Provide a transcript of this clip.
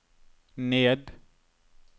ned